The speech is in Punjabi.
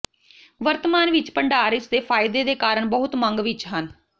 ਵਰਤਮਾਨ ਵਿੱਚ ਭੰਡਾਰ ਇਸ ਦੇ ਫਾਇਦੇ ਦੇ ਕਾਰਨ ਬਹੁਤ ਮੰਗ ਵਿੱਚ ਹਨ